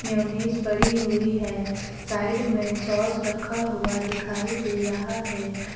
Mayonnaise पड़ी हुई है साइड में सॉस रखा हुआ दिखाई दे रहा है।